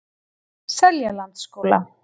Seljalandsskóla